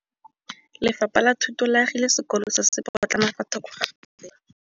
Lefapha la Thuto le agile sekôlô se se pôtlana fa thoko ga tsela.